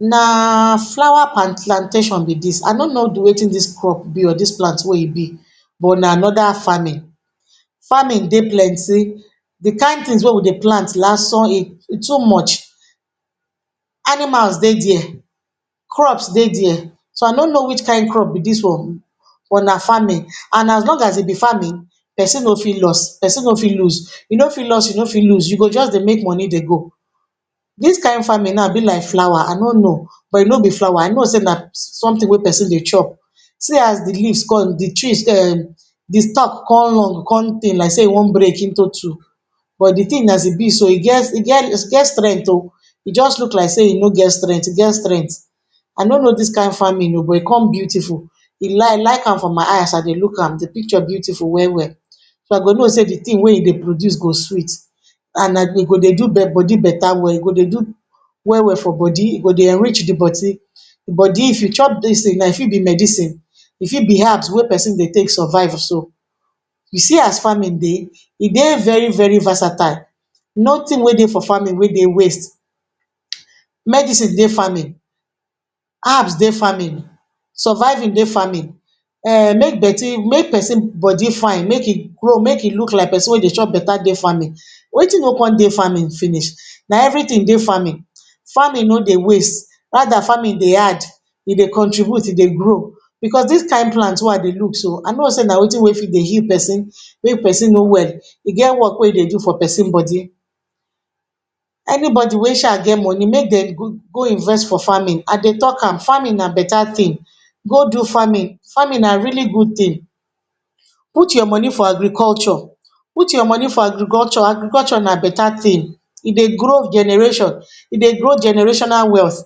Na flower plantation be dis. I no know di wetin dis crop be or dis plant wey e be but na another farming. Farming dey plenti. Di kain tins wey we dey plant lasan e e too much. Animals dey there, crops dey there, so I no know which kain crop be dis one, but na farming. An as long as e b farming, pesin no fit loss, pesin no fit lose. Yo no fit loss, you no fit lose, you go juz dey make money dey go. Dis kain farming nau be like flower. I no know. But if no be flower, I know sey na sumtin wey pesin dey chop. See as di leaves con di trees um di stalk con run con thin like sey e wan break into two. But di tin as e be so, e get e get e get strength oh. E juz look like sey e no get strength, e get strength. I no know dis kain farming oh, but e con beautiful. E lie like am for my eye. As I dey look am, di picture beautiful well-well. So, I go know sey di tin wey e dey produce go sweet. An e go dey bodi beta well, e go dey do well-well for bodi. E go dey enrich di bodi. If you chop dis tin nau, e fit be medicine, e fit be herbs wey pesin dey take survive so. You see as farming dey, e dey very-very versatile. Nothing wey dey for farming wey dey waste. Medicine dey farming, herbs dey farming, surviving dey farming, um make make pesin bodi fine, make e grow, make e look like pesin wey dey chop beta dey farming, wetin no con dey farming finish? Na everytin dey farming. Farming no dey waste. Rather, farming dey add, e dey contribute, e dey grow. Becos dis kain plant wey I dey look so, I know sey na wetin wey fit dey heal pesin. Make pesin no well, e get work wey e dey do for pesin bodi. Any bodi wey sha get money, make dem go go invest for farming. I dey talk am, farming na beta tin. Go do farming. Farming na really good tin. Put your money for agriculture. Put your money for agriculture. Agriculture na beta tin. E dey grow generation. E dey grow generational wealth.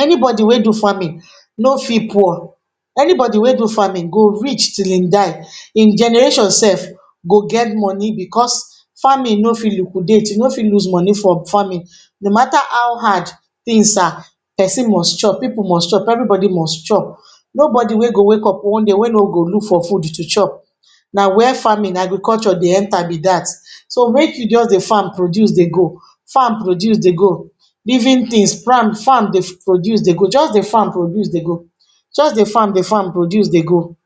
Any bodi wey do farming no fit poor. Any bodi wey do farming go rich till ein die. Ein generation sef go get money becos farming no fit liquidate. You no fit lose money for farming. No mafter how hard tins are, pesin must chop, pipu must chop, every bodi must chop. No bodi wey go wake up one day wey no go look for food to chop. Na where farming, agriculture dey enter be dat. So, make you juz dey farm produce dey go, farm produce dey go. Living tins farm dey produce dey go. Juz dey farm produce dey go. Just dey farm dey farm produce dey go.